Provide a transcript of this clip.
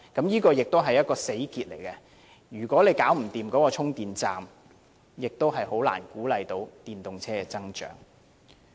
這也是一個死結，如果不能安裝充電站，便難以鼓勵電動車的增長。